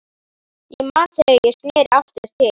Ég man þegar ég sneri aftur til